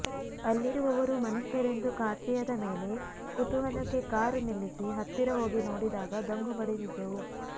ಅಲ್ಲಿರುವವರು ಮನುಷ್ಯರೆಂದು ಖಾತ್ರಿಯಾದ ಮೇಲೆ ಕುತೂಹಲಕ್ಕೆ ಕಾರು ನಿಲ್ಲಿಸಿ ಹತ್ತಿರ ಹೋಗಿ ನೋಡಿದಾಗ ದಂಗು ಬಡಿದಿದ್ದೆವು